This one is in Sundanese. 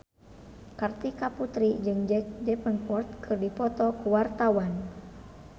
Kartika Putri jeung Jack Davenport keur dipoto ku wartawan